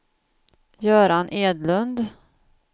Göran Edlund